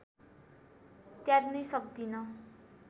त्याग्नै सक्दिन